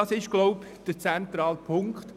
Dies ist wohl der zentrale Punkt: